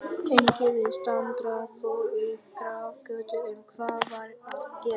Enginn viðstaddra fór í grafgötur um hvað var að gerast.